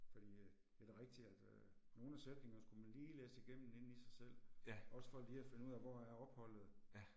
Fordi at, ja det er rigtigt, at øh nogle af sætningerne skulle man lige læse igennem inde i sig selv, også for lige at finde ud af hvor er opholdet